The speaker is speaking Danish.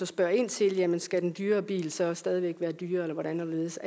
spørger ind til jamen skal den dyrere bil så stadig væk være dyrere eller hvordan og hvorledes